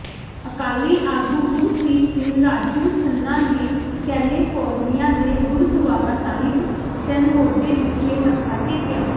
ਅਕਾਲੀ ਆਗੂ ਗੁਰਪ੍ਰੀਤ ਸਿੰਘ ਰਾਜੂ ਖੰਨਾ ਨੇ ਕੈਲੇਫੋਰਨੀਆ ਦੇ ਗੁਰਦੁਆਰਾ ਸਾਹਿਬ ਸੈਨਹੋਜੇ ਵਿਖੇ ਮੱਥਾ ਟੇਕਿਆ